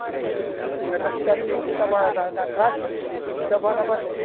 então você trabalha na caixa e trabalha na